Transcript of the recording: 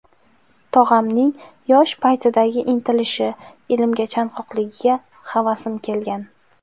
Tog‘amning yosh paytidagi intilishi, ilmga chanqoqligiga havasim kelgan.